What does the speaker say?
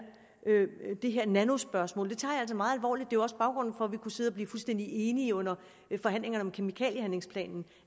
nanospørgsmål meget alvorligt det var jo også baggrunden for at vi kunne sidde og blive fuldstændig enige under forhandlingerne om kemikaliehandlingsplanen